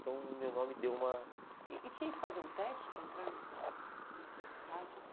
Então, o meu nome deu uma... E e tinha que fazer um teste para entrar nessa nessas rádios?